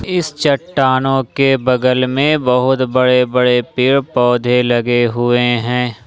इस चट्टानों के बगल में बहुत बड़े बड़े पेड़ पौधे लगे हुए हैं।